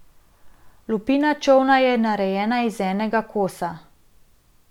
Lupina čolna je narejena iz enega kosa.